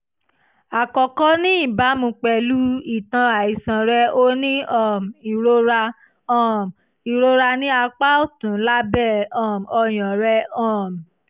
àkọ́kọ́ ní ìbámú pẹ̀lú ìtàn àìsàn rẹ o ní um ìrora um ìrora ní apá ọ̀tún lábẹ́ um ọyàn rẹ um